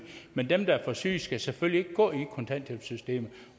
men dem der er for syge skal selvfølgelig ikke gå i kontanthjælpssystemet